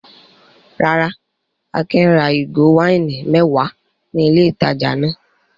Rárá, Akin ra ìgò wáìnì mẹ́wàá ní ilé-ìtajà náà.